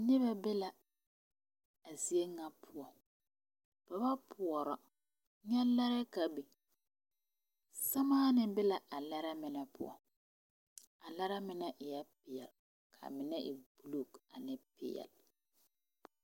Nebɛ be la a zie ŋa poɔ baba pɔɔrɔ nyɛ larreɛɛ kaa biŋ sɛmaanee be la a larrɛɛ mine poɔ a larrɛɛ mine eɛɛ peɛɛl kaa mine w bluu kaa mine e peɛɛl.